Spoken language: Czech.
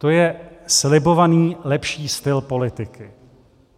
To je slibovaný lepší styl politiky.